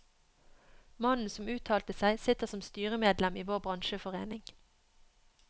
Mannen som uttalte seg, sitter som styremedlem i vår bransjeforening.